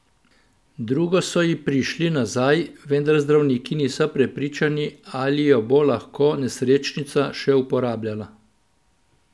Drugo so ji prišli nazaj, vendar zdravniki niso prepričani, ali jo bo lahko nesrečnica še uporabljala.